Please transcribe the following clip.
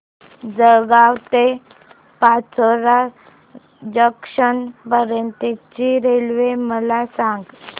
जळगाव ते पाचोरा जंक्शन पर्यंतची रेल्वे मला सांग